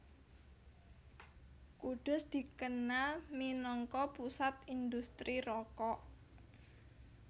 Kudus dikenal minangka pusat indhustri rokok